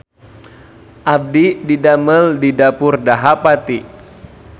Abdi didamel di Dapur Dahapati